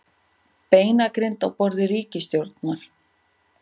Beinagrind á borði ríkisstjórnar